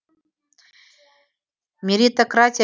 меритократия